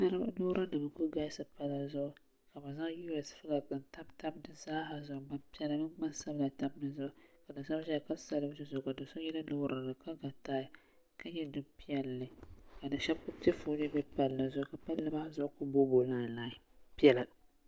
Lɔɔrinim n ku galisi palli zuɣu. ka bɛ zaŋ us flagb n tab tab di zaaha zuɣu ka gban piɛla mini gbansabila tabi dizuɣu. ka doso yina lɔɔri maani ka lɔ taai ka nyɛ zaɣi piɛli ka pala maa zuɣu zaa boo boo lie piɛla piɛla